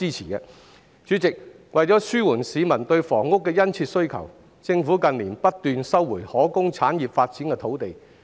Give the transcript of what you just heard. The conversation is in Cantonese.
代理主席，為紓緩市民對房屋的殷切需求，政府近年不斷收回可供產業發展的土地。